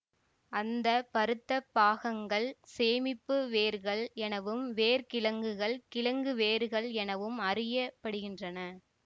அந்த பருத்தப் பாகங்கள் சேமிப்பு வேர்கள் எனவும் வேர் கிழங்குகள் கிழங்குவேர்கள் எனவும் அறியப்படுகின்றன